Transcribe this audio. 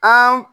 An